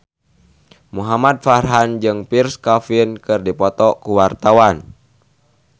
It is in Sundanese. Muhamad Farhan jeung Pierre Coffin keur dipoto ku wartawan